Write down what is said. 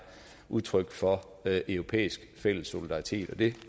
udtryk for europæisk fælles solidaritet og det